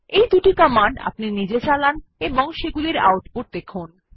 এই দুটি কমান্ড আপনি নিজে চালান এবং সেগুলির আউটপুট দেখুন